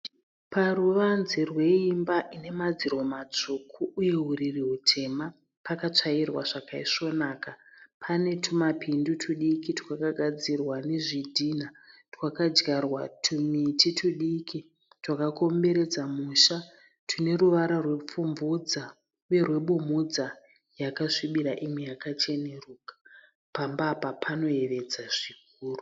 Paruvanze rweimba ine madziro matsvuku uye uriri hutema. Pakatsvairwa zvakaisvonaka. Pane tumapindu twudiki rwakagadzirwa nezvidhinha twakadyarwa tumiti tudiki twakakomberedza musha twune ruvara rwepfumvudza uye rwebumhudza yakasvibira imwe yakacheneruka. Pamba apa panoyevedza zvikuru.